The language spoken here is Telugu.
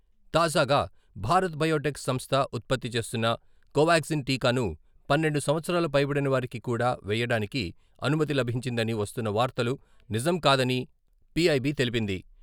తాజాగా భారత్ బయోటెక్ సంస్థ ఉత్పత్తి చేస్తున్న కోవాగ్జిన్ టీకాను పన్నెండు సంవత్సరాలు పైబడినవారికి కూడా వేయడానికి అనుమతి లభించిందని వస్తున్న వార్తలు నిజం కాదని పి.ఐ.బి. తెలిపింది.